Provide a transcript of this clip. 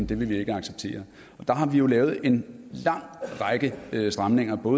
det vil vi ikke acceptere og der har vi lavet en lang række stramninger på